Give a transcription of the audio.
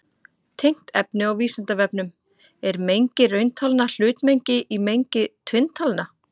Tengt efni á Vísindavefnum: Er mengi rauntalna hlutmengi í mengi tvinntalna?